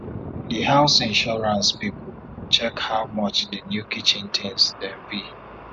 di house insurance people check how much the new kitchen tins dem be